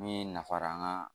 Min nafara an ka